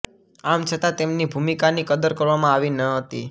આમ છતાં તેમની ભૂમિકાની કદર કરવામાં આવી ન હતી